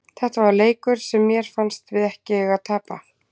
Þetta var leikur sem mér fannst við ekki eiga að tapa.